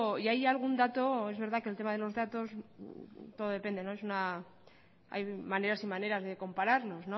y hay algún dato es verdad que el tema de los datos todo depende hay maneras y maneras de compararnos